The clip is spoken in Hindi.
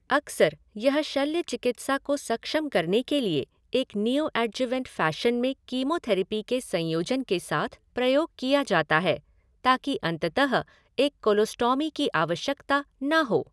अक्सर यह शल्य चिकित्सा को सक्षम करने के लिए एक नियोऐड्जुवेंट फ़ैशन में कीमोथेरेपी के संयोजन के साथ प्रयोग किया जाता है, ताकि अंततः एक कोलोस्टॉमी की आवश्यकता न हो।